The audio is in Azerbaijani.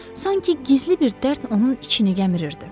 Sanki gizli bir dərd onun içini gəmirirdi.